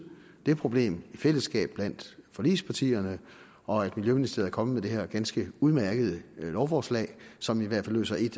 det problem i fællesskab blandt forligspartierne og at miljøministeriet er kommet med det her ganske udmærkede lovforslag som i hvert fald løser en